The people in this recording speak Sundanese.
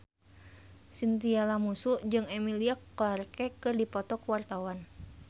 Chintya Lamusu jeung Emilia Clarke keur dipoto ku wartawan